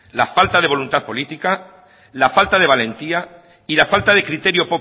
la falta de voluntad política la falta de valentía y la falta de criterio